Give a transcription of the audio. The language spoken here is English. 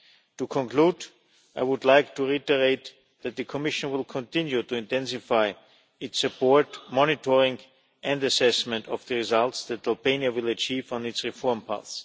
To conclude, I would like to reiterate that the Commission will continue to intensify its support, monitoring and assessment of the results that Albania will achieve on its reform path.